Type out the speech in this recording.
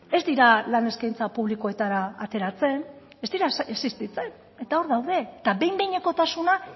ez dira lan eskaintza publikoetara ateratzen ez dira existitzen eta hor daude eta behin behinekotasuna